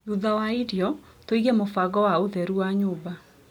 Thutha wa irio, tũige mũbango wa ũtheru wa nyũmba.